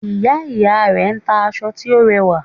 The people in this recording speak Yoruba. Ìya ìya rè n ta aṣọ tí ó rẹwà